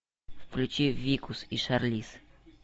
включи викус и шарлиз